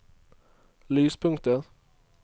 lyspunktet